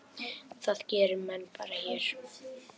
Það gera menn bara hér.